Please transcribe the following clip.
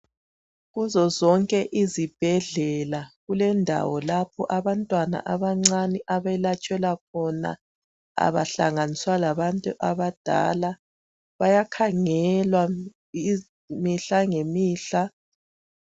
Kuzo zonke izibhedlela kulendawo lapho abantwana abancane abelatshelwa khona abahlanganiswa labantu abadala, bayakhangelwa mihla ngemihla.